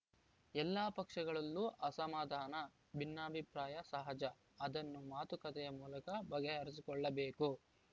ಎಲ್ಲಾ ಪಕ್ಷಗಳಲ್ಲೂ ಅಸಮಾಧಾನ ಭಿನ್ನಾಭಿಪ್ರಾಯ ಸಹಜ ಅದನ್ನು ಮಾತುಕತೆಯ ಮೂಲಕ ಬಗೆಹರಿಸಿಕೊಳ್ಳಬೇಕು